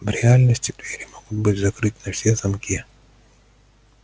в реальности двери могут быть закрыты на все замки